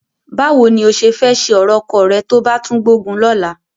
Báwo ni o ṣe fẹ́ ṣe ọ̀rọ̀ ọkọ rẹ tó bá tún gbógun lọ́la?